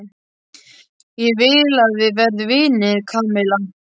Ég vil að við verðum vinir, Kamilla.